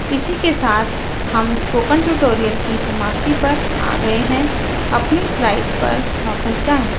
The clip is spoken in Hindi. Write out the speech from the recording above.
इसी के साथ हम स्पोकन ट्यूटोरियल की समाप्ति पर आ गए हैं अपनी स्लाइड्स पर वापस जाएँ